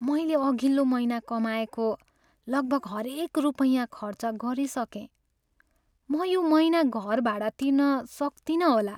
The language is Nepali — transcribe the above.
मैले अघिल्लो महिना कमाएको लगभग हरेक रुपैयाँ खर्च गरिसकेँ। म यो महिना घर भाडा तिर्न सक्तिनँ होला।